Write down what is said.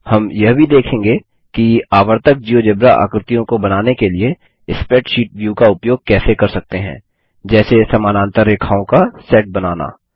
हम यह भी देखेंगे कि आवर्तक जियोजेब्रा आकृतियों को बनाने के लिए स्प्रैडशीट व्यू का उपयोग कैसे कर सकते हैं जैसे समानांतर रेखाओं का सेट बनाना